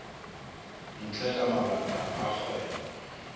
ntle ka mabaka a kgwebo